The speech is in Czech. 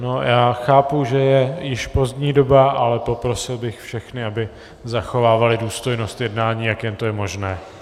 No já chápu, že je již pozdní doba, ale poprosil bych všechny, aby zachovávali důstojnost jednání, jak jen to je možné.